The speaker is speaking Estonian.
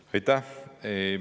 Aitäh!